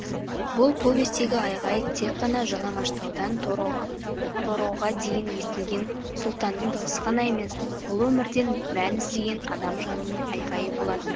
бұл повестегі айғай тек қана жалаңаштаудан тороға дейін естілген сұлтанның даусы ғана емес бұл өмірден мән іздеген адам жанының айғайы болатын